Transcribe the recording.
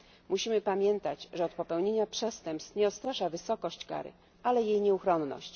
Musimy pamiętać, że od popełnienia przestępstw nie odstrasza wysokość kary, ale jej nieuchronność.